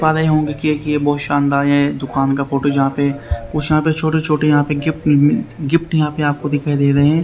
देख पा रहे होंगे की बहुत शानदार ये दुकान का फोटो जहां पे कुछ यहां पे छोटे-छोटे यहां पे गिफ्ट -गिफ्ट यहां पे आपको दिखाई दे रहे हैं।